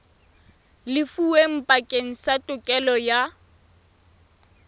lefuweng bakeng sa tokelo ya